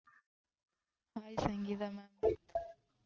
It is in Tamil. hi Sangeetha ma'am